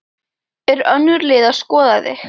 Eru önnur lið að skoða þig?